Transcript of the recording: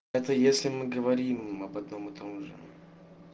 это если мы говорим об одном и том же